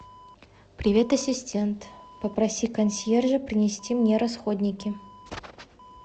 привет ассистент попроси консьержа принести мне расходники